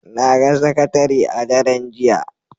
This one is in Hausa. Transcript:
Na ga sakatare a daren jiya